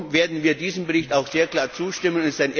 Darum werden wir diesem Bericht auch sehr klar zustimmen.